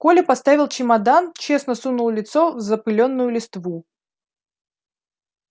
коля поставил чемодан честно сунул лицо в запылённую листву